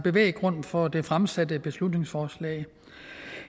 grund for det fremsatte beslutningsforslag